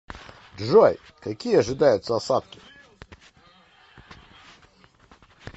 джой какие ожидаются осадки